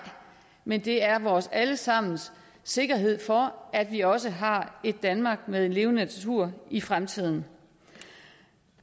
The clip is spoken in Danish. men det er vores alle sammens sikkerhed for at vi også har et danmark med levende natur i fremtiden